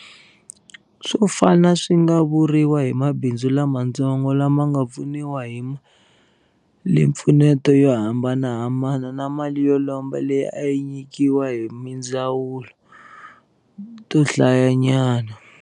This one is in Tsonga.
Swo fana swi nga vuriwa hi mabindzu lamatsongo lama nga pfuniwa hi malimpfuneto yo hambanahambana na mali yo lomba leyi a yi nyikiwa hi tindzawulo to hlayanyana.